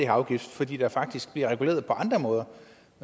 afgift fordi der faktisk bliver reguleret på andre måder